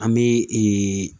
An bɛ